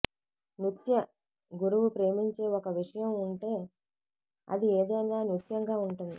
నృత్య గురువు ప్రేమించే ఒక విషయం ఉంటే అది ఏదైనా నృత్యంగా ఉంటుంది